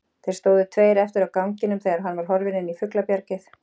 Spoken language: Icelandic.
Þeir stóðu tveir eftir á ganginum þegar hann var horfinn inn í fuglabjargið.